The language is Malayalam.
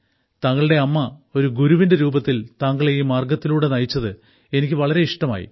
താങ്കളുടെ അമ്മ ഒരു ഗുരുവിന്റെ രൂപത്തിൽ താങ്കളെ ഈ മാർഗ്ഗത്തിലൂടെ നയിച്ചത് എനിക്ക് വളരെ ഇഷ്ടമായി